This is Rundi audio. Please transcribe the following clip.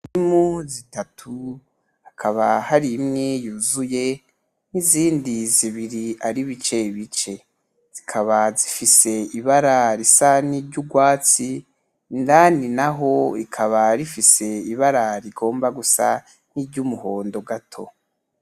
Indimu zitatu hakaba hari imwe yuzuye, nizindi zibiri ari bice bice. Zikaba zifise ibara risa ni ry'urwatsi, indani naho rikaba rifise ibara rigomba gusa nki ry'umuhondo gato.